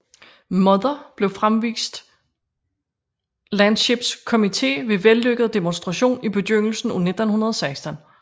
Mother blev forevist Landships Committee ved vellykket demonstration i begyndelsen af 1916